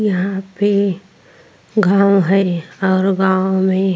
यहाँ पे गाँव है और गाँव में--